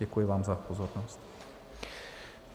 Děkuji vám za pozornost.